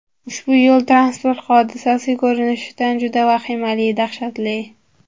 Ushbu yo‘l-transport hodisasi ko‘rinishidan juda vahimali, dahshatli.